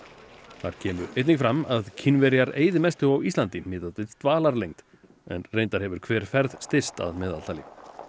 þar kemur einnig fram að Kínverjar eyði mestu á Íslandi miðað við dvalarlengd en reyndar hefur hver ferð styst að meðaltali